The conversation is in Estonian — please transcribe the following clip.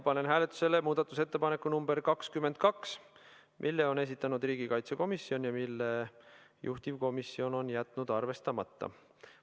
Panen hääletusele muudatusettepaneku nr 22, mille on esitanud riigikaitsekomisjon ja mille juhtivkomisjon on jätnud arvestamata.